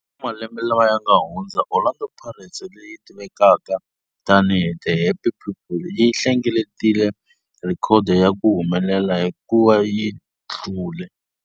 Malembe lawa yanga hundza, Orlando Pirates, leyi tivekaka tani hi 'The Happy People', yi hlengeletile rhekhodo ya ku humelela hikuva yi hlule.